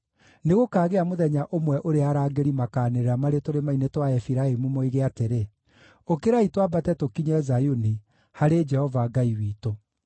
Nĩgũkaagĩa mũthenya ũmwe ũrĩa arangĩri makaanĩrĩra marĩ tũrĩma-inĩ twa Efiraimu, moige atĩrĩ, ‘Ũkĩrai twambate tũkinye Zayuni, harĩ Jehova Ngai witũ.’ ”